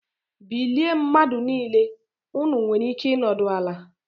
Bilie mmadụ niile!! Ụnụ nwere ike ịnọdụ ala